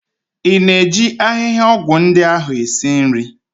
Ị na-eji ahịhịaọgwụ ndi ahụ esi nri?